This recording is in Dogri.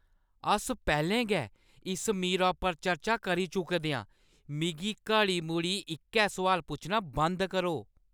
अस पैह्‌लें गै इस मीरा पर चर्चा करी चुके दे आं! मिगी घड़ी-मुड़ी इक्कै सुआल पुच्छना बंद करो।